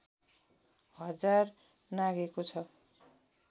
हजार नाघेको छ